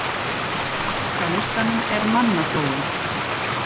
Næst á listanum er mannaflóin.